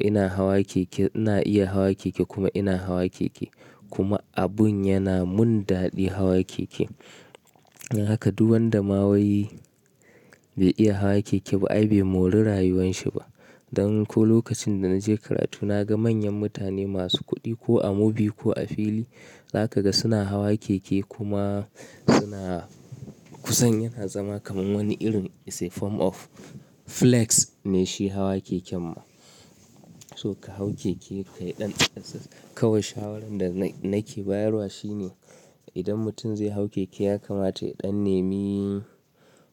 ina hawa keke, ina iya hawa keke kuma ina hawa keke. Kuma abun yana mun daɗi hawa keke. Dan haka duk wanda ma wai bai iya hawa keke ba ai bai mori rayuwan shi ba. Dan ko lokacin da na je karatu na ga manyan mutane masu kuɗi ko a mobil ko a fili, za ka ga suna hawa keke kuma suna, kusan yana zama kamar wani irin it's a form of flex ne shi hawa keken ma. So ka hau keke ka yi ɗan exercise. Kawai shawarar da na ke bayarwa shine idan mutum zai hau keke ya kamata ya ɗan nemi,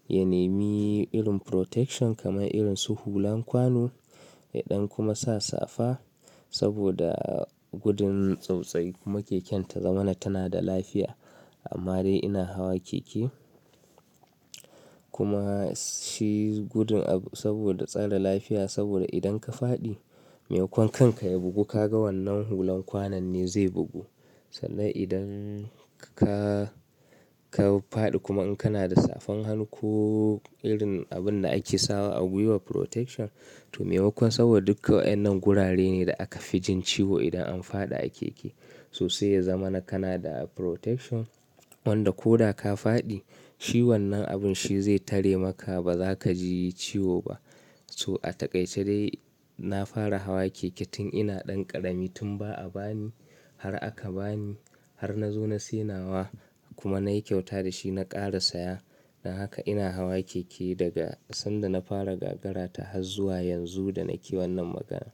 ya nemi irin protection kamar irin su hulan kwano, ya ɗan kuma sa safa saboda gudun tsautsayi kuma keken ta zama na tana da lafiya. Amma dai ina hawa keke. Kuma shi gudun abu saboda tsare lafiya saboda idan ka fadi, maimakon kanka ya bugu ka ga wannan hulan kwanon ne zai bugu. Sannan idan ka, ka faɗi kuma in kana da safan hannu ko irin abun da ake sawa a gwiwa protection, to maimakon kuma saboda duka wa'annan gurare ne da aka fi jin ciwo idan an faɗi a keke. To sai ya zama na kana da protection wanda ko da ka faɗi, shi wannan abun shi zai tare maka ba za ka ji ciwo ba. So a taƙaice dai na fara hawa keke tun ina ɗan ƙarami tun ba'a ba ni, har aka ba ni, har na zo na sayi nawa kuma na yi kyauta da shi na ƙara saya. Dan haka ina hawa keke daga sanda na fara gagara ta har zuwa yanzu da nake wannan magana.